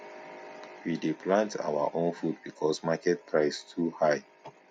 we dey plant our own food because market price too high